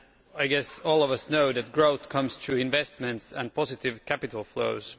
I guess all of us know that growth comes through investment and positive capital flows.